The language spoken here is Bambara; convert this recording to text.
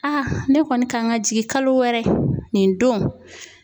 ne kɔni kan ka jigin kalo wɛrɛ nin don .